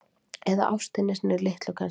Eða ástinni sinni litlu kannski.